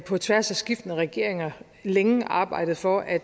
på tværs af skiftende regeringer længe arbejdet for at